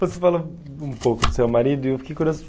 Você falou um pouco do seu marido e eu fiquei curioso.